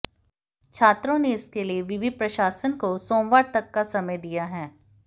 छात्रों ने इसके लिए विवि प्रशासन को सोमवार तक का समय दिया है